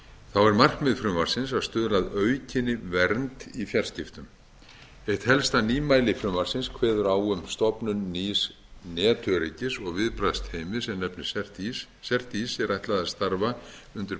fjarskiptamálum er markmið frumvarpsins að stuðla að aukinni vernd í fjarskiptum eitt helsta nýmæli frumvarpsins kveður á um stofnun nýs netöryggis og viðbragðsteymis sem nefnist cert ís cert ís er ætlað að starfa undir